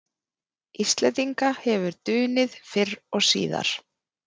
Íslendinga hefur dunið fyrr og síðar.